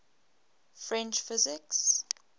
french physicists